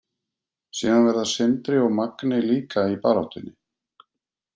Síðan verða Sindri og Magni líka í baráttunni.